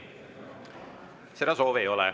Seda soovi ei ole.